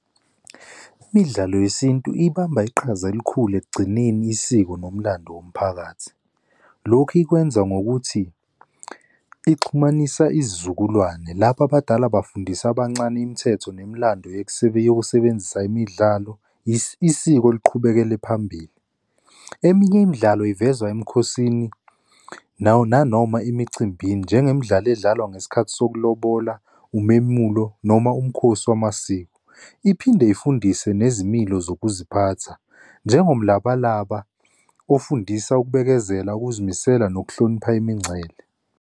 Imidlalo yesintu ibamba iqhaza elikhulu ekugcineni isiko nomlando womphakathi. Lokhu ikwenza ngokuthi ixhumanisa isizukulwane lapho abadala bafundisa abancane imithetho nomlando yokusebenzisa imidlalo, isiko liqhubekele phambili. Eminye imidlalo ivezwa emikhosini nanoma emicimbini njengemidlalo edlalwa ngesikhathi sokulobola, umemulo, noma umkhosi wamasiko. Iphinde ifundise nezimilo zokuziphatha, njengomlabalaba ofundisa ukubekezela, ukuzimisela nokuhlonipha imingcele.